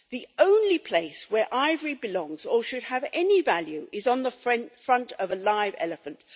The only place where ivory belongs or should have any value is on the front of a live elephant.